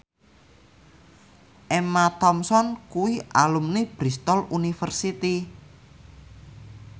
Emma Thompson kuwi alumni Bristol university